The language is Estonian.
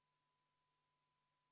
Teie tahate kiirema sammuga minna.